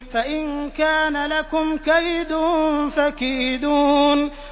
فَإِن كَانَ لَكُمْ كَيْدٌ فَكِيدُونِ